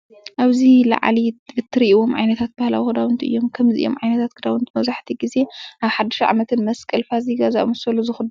ኣብዚ ላዓሊ እትሪእዎም ዓይነታት ባህላዊ ክዳውንቲ እዮም። ከም እዚኦም ዓይነት ክዳውንቲ መብዛሕቲኡ ግዜ ኣብ ሓድሽ ዓመትን ,መስቀል ፋሲካ ዝኣምሰሉ ዝኽደኑ እዮም።